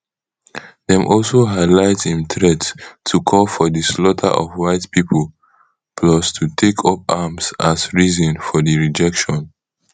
dem also highlight im threat to call for di slaughter of white pipo plus to take up arms as reason for di rejection